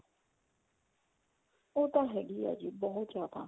ਉਹ ਤੇ ਹੈਗੀ ਆ ਜੀ ਬਹੁਤ ਜਿਆਦਾ